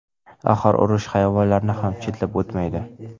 Axir urush hayvonlarni ham chetlab o‘tmaydi.